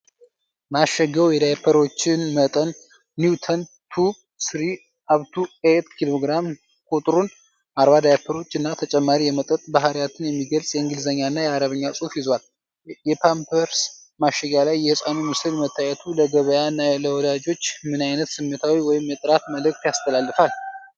ማሸጊያው የዳይፐሮችን መጠን (Newborn 2, 3-8kg)፣ ቁጥሩን (40 ዳይፐሮች) እና ተጨማሪ የመምጠጥ ባህሪያትን የሚገልጽ የእንግሊዝኛና የአረብኛ ጽሑፍ ይዟል። የፓምፐርስ ማሸጊያ ላይ የሕፃኑ ምስል መታየቱ ለገበያ እና ለወላጆች ምን አይነት ስሜታዊ ወይም የጥራት መልእክት ያስተላልፋል?